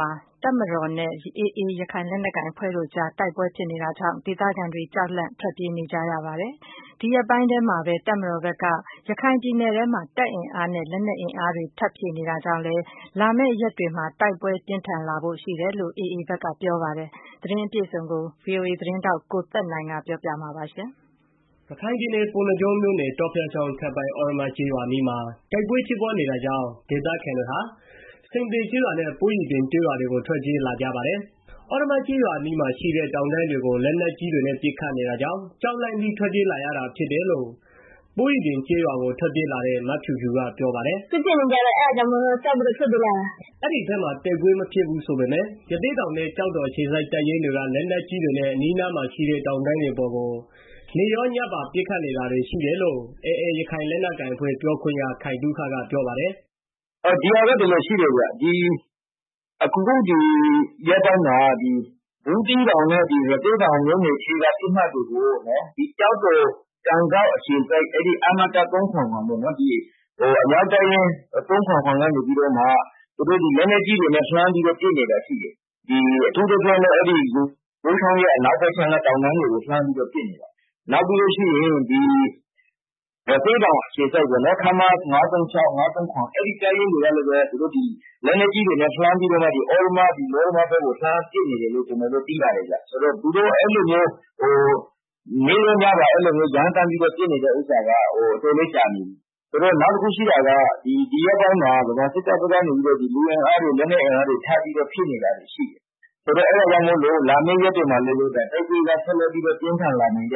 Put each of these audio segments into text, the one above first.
မှာ တပ်မတော်နဲ့ AA ရခိုင်လက်နက်ကိုင်အဖွဲ့တို့အကြား တိုက်ပွဲဖြစ်ပွားနေတာကြောင့် ဒေသခံတွေကြောက်လန့်ပြီး ထွက်ပြေးနေကြပါတယ်။ ဒီရက်ပိုင်းအတွင်းမှာ တပ်မတော်ဘက်က ရခိုင်ပြည်နယ်အတွင်းမှာ တပ်အင်အားနဲ့ လက်နက်အင်အားတွေ ထပ်ဖြည့်နေတာကြောင့် လာမယ့် ရက်တွေမှာ တိုက်ပွဲ ပြင်းထန်လာဖို့ရှိတယ်လို့ AA ဖက်က ပြောပါတယ်။ ဒီသတင်းအပြည့်အစုံကိုတော့ ဗွီအိုအေ သတင်းထောက် ကိုသက်နိုင်က ပြောပြပေးမှာပါ။ ရခိုင်ပြည်နယ် ၊ ပုဏ္ဏားကျွန်းမြို့နယ်၊ တောဖျားချောင်းအထက်ပိုင်း သြရမ ကျေးရွာအနီး မှာတိုက်ပွဲဖြစ် ပွားနေတာကြောင့် ဒေသခံတွေသာ ဆင်သေကျေးရွာနဲ့ ပိုးရွီပြင်ကျေးရွာတွေသို့ ထွက်ပြေးလာကြပါတယ်။ သြရမ ကျေးရွာအနီးမှာ ရှိတဲ့တောင်တန်းတွေကို လက်နက်ကြီးတွေနဲ့ ပစ်ခတ်နေတာကြောင့် ကြောက်လန့်ပြီးတော့ ထွက်ပြေးလာတာဖြစ်တယ်လို့ ပိုးရွီပြင်ကျေးရွာကို ထွက်ပြေးလာတဲ့ မဖြူဖြူက ပြောပါတယ်။ "စစ်ဖြစ်နေကြတော့ ကြောက်ပြီးတော့ ထွက်ပြေးလာတာ။ " အဲဒီဖက်မှာ တိုက်ပွဲမဖြစ်ဘူးဆိုပေမယ့် ရသေ့တောင်နဲ့ ကျောက်တော်အခြေစိုက် တပ်ရင်းတွေက လက်နက်ကြီးတွေနဲ့ အနီးအနားမှာရှိတဲ့ တောင်တန်းတွေပေါ်ကို နေ့ရောညပါ ပစ်ခတ်နေတာတွေရှိတယ်လို့ AA ရခိုင်လက်နက်ကိုင်အဖွဲ့ ပြောခွင့်ရ ခိုင်သုခကပြောပါတယ်။ "ဒီဟာက ဒီလိုရှိတယ်ဗျ အခုရက်ပိုင်းမှာ ဒီဘူးသီးတောင်နဲ့ ရသေ့တောင်မြို့နယ်ထဲက ပစ်မှတ်တွေကို ကျောက်တော်၊ ကန်စောက်အခြေစိုက် အမက ၃၇၇ ဒီအမြောက်တပ်ရင်း ၃၇၇ ကနေပြီးတော့မှ လက်နက်ကြီး တွေနဲ့ လှမ်းပြီးတော့ ပစ်နေတာရှိတယ်။ အထူးသဖြင့်တော့ ဒီ ယိုးချောင်းရဲ့ အနောက်ဖက်ခြမ်းက တောင်တန်းတွေကို လှမ်းပြီးတော့ ပစ်နေတာဖြစ်တယ်။ နောက်ပြီးလို့ရှိရင် ရသေ့တောင်အခြေစိုက် ခမရ ၅၃၆ ၅၃၇ အဲဒီတပ်ရင်းတွေကလည်း လက်နက်ကြီးတွေနဲ့လှမ်းပြီးတော့ သြရမ ယောရမ ဖက်ကို လှမ်းပစ်နေတယ်လို့ သိရတယ်။ သူတို့ အဲလိုနေ့ရောညပါ ရမ်းသန်းပြီးပစ်နေတာက အတော်လည်း ကြာနေပြီ။ နောက်တစ်ခုရှိတာက ဒီရက်ပိုင်းမှာ ဗမာစစ်တပ်ဖက်ကနေပြီးတော့ လူအင်အား လက်နက်အင်အားတွေ ထပ်ပြီးတော့ ဖြည့်နေတာတွေရှိတယ်။ အဲတာကြောင့် လာမည့် ရက်တွေမှာလည်း တိုက်ပွဲက ပြင်းထန်လာဖို့ရှိတ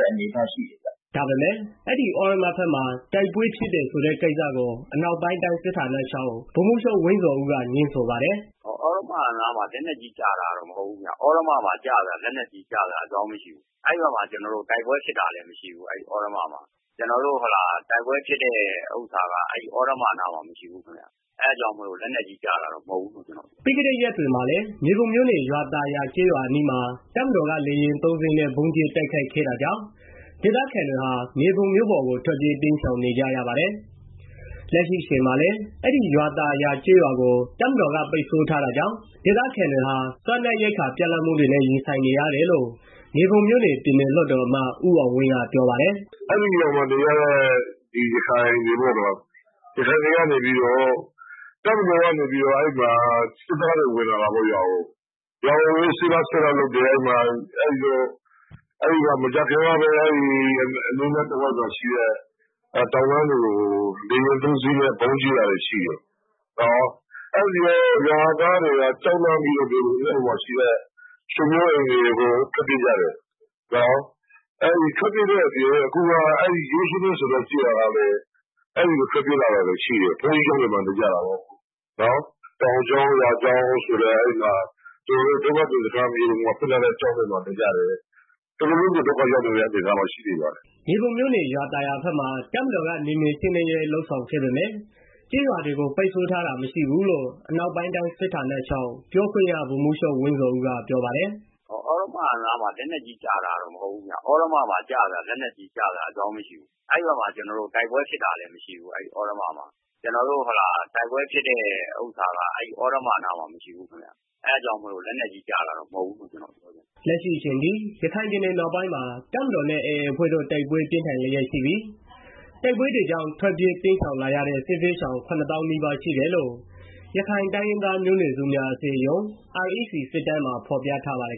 ယ်။ " ဒါပေမယ့် အဲဒီ သြရမဖက်မှာ တိုက်ပွဲဖြစ်တယ်ဆိုတဲ့ကိစ္စကို အနောက်ပိုင်းတိုင်း စစ်ဌာနချုပ်ပြောခွင့်ရ ဗိုလ်မှူးချုပ် ဝင်းဇော်ဦး က ငြင်းဆိုပါတယ်။ "သြရမ နားမှာ လက်နက်ကြီးကျတာတော့မဟုတ်ဘူးဗျ။ သြရမမှာ လက်နက်ကြီး ကျစရာအကြောင်းမရှိဘူး။ အဲဒီဖက်မှာ တိုက်ပွဲဖြစ်တာလည်း မရှိဘူး။ ကျနော်တို့ တိုက်ပွဲဖြစ်တဲ့ ဥစ္စာက အဲဒီသြရမနားမှာ မရှိဘူး။ အဲတာကြောင့် လက်နက်ကြီးကျတာတော့ မဟုတ်ဘူးခင်ဗျာ။" ပြီးခဲ့တဲ့ ရက်ပိုင်းတွေမှာလည်း မြေပုံမြို့နယ်၊ ရွာသာယာကျေးရွာအနီးမှာ တပ်မတော်က လေယာဉ် သုံးစင်းနဲ့ ဗုံးကျဲတိုက်ခိုက်ခဲတာကြောင့် ဒေသခံတွေမြေပုံမြို့ပေါ်ကို ထွက်ပြေးတိမ်းရှောင်နေကြရပါတယ်။ လက်ရှိအချိန်မှာလည်း အဲဒီရွာသာယာကျေးရွာကို တပ်မတော်က ပိတ်ဆို့ထားတာကြောင့် ဒေသခံတွေဟာ စားနပ်ရိက္ခာပြတ်လပ်မှုတွေနဲ့ ရင်ဆိုင်နေရတယ်လို့ မြေပုံမြို့နယ် ပြည်နယ်လွှတ်တော်အမတ် ဦးအောင်ဝင်း ကပြောပါတယ်။ "ဟုတ်ကဲ့ ရွာသာယာဆိုတာကတော့ ယိုးချောင်းတံတားရဲ့ အထက်ပိုင်းမှာ ရှိတဲ့ ကျေးရွာလည်း တစ်ရွာပါ။ အဲဒီမှာ တပ်မတော်ကနေပြီးတော့ ရွာထဲကို ဝင်ပြီး စစ်တယ်။ မကြာခင်ကပဲ အဲဒီအနီးအနားမှာရှိတဲ့ တောင်တန်းတွေကို လေယာဉ်သုံးစင်းနဲ့ ဗုံးကျဲတာတွေရှိတယ်။ အဲဒီတော့ ရွားသားတွေက ကြောက်လန့်ပြီးတော့ မြေပုံမြို့ပေါ်မှာရှိတဲ့ ဆွေမျိုးအိပ်တွေကို ထွက်ပြေးကြတယ်။ ထွက်ပြေးတဲ့ အပြင်အခုအဲဒီ ဘက်ကထွက်ပြေးလာတာတွေရှိတယ် ဘုန်းကြီးကျောင်းတွေမှာ နေကြတာပေါ့။ တောင်ကျောင်းရွာကျောင်းဆိုပြီးတော့ မြေပုံမြို့ပေါ်မှာဖွင့်ထားတဲ့ ဒုက္ခသည် စခန်းတွေမှာနေကြတယ်။ တော်တော်လေးကို ဒုက္ခရောက်နေကြပါတယ်။" မြေပုံမြို့နယ် ရွာသာယာဖက်မှာ တပ်မတော်က နယ်မြေရှင်းလင်းရေး လုပ်ဆောင်ခဲ့ပေမယ့် ကျေးရွာတွေကို ပိတ်ဆို့ထားတာ မရှိဘူးလို့ အနောက်ပိုင်းတိုင်းစစ်ဌာနချုပ် ပြောခွင့်ရ ဗိုလ်မှူးချုပ် ဝင်းဇော်ဦးကပြောပါတယ်။ "ကျနော်တို့က ရွာသာရွာ အဲဒီအနာမှာ ယောချောင်းရှိတယ်။ ရွာက ယောချောင်းရဲ့ အရှေ့ဖက်ကမ်းမှာ ယောချောင်းရှိတယ်။ နောက် ရွာသာယာရှိတာပေါ့။ အဲဒီနေရာမှာ နယ်မြေရှင်းလင်းရေးလုပ်တယ်ဆိုတာတော့ ကျနော်တို့မှန်တယ်။ ဒါပေမယ့် ခုနားကလို ရွာတွေ ပိတ်ထားတယ် ဆိုတာကတော့မဟုတ်ပါဘူး။ ပြီးရင် အဲဒီဝန်းကျင်မှာလည်း ကျနော်တို့ တပ်တွေမရှိတော့ဘူး။" လက်ရှိအချိန်ထိ ရခိုင်ပြည်နယ်မြောက်ပိုင်းမှာ တပ်မတော်နဲ့ AAအဖွဲ့တို့ တိုက်ပွဲပြင်းထန်နေရှိပြီး တိုက်ပွဲတွေကြောင့် ထွက်ပြေးတိမ်းရှောင်လာရတဲ့ စစ်ဘေးရှောင် ၇သောင်းနီးပါးရှိတယ်လို့ ရခိုင်တိုင်းရင်းသားမျိုးနွယ်စုများ အစည်းအရုံး REC စစ်တမ်းမှာ ဖော်ပြထားပါတယ်